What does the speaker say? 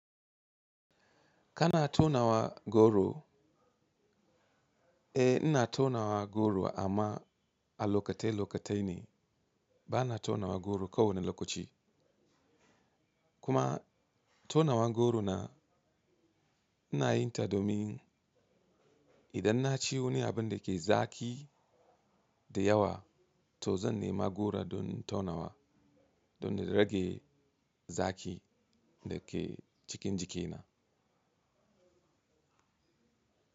Kana taunawa goro? Eh, ina taunawa goro amma a lokatai lokatai ne. Bana taunawa goro kowane lokaci. Kuma taunawan goro na ina yin ta domin idan na ci wani abin da ke zaki da yawa to zan nema goro domin taunawa, don na rage zaki da ke cikin jikina.